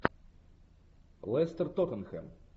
лестер тоттенхэм